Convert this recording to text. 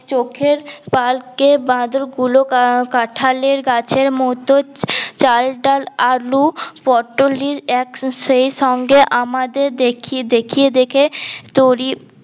চোকের পাশ কে বাঁদর গুলো কাঁঠালের গাছের মতো চাল ডাল আলু পটল এর এক সে সঙ্গে আমাদের দেখিয়ে দেখিয়ে দেখে